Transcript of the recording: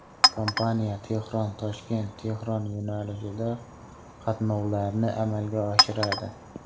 Kompaniya TehronToshkentTehron yo‘nalishida qatnovlarni amalga oshiradi.